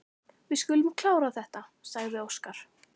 Við skulum klára þetta, sagði Óskar.